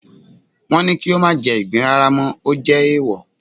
wọn ní kí o mà jẹ igbín rara mọ, o jè eèwò